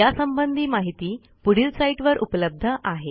यासंबंधी माहिती पुढील साईटवर उपलब्ध आहे